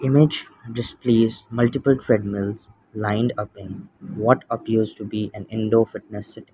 image displays multiple treadmills lined up in what appears to be an indoor fitness setting.